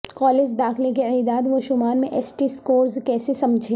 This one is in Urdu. کالج داخلہ کے اعداد و شمار میں ایس ٹی سکورز کیسے سمجھیں